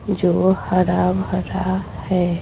जो हरा भरा है।